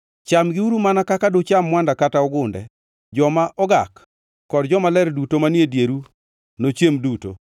Chamgiuru mana kaka ducham mwanda kata ogunde. Joma ogak kod jomaler duto manie dieru nochiem duto.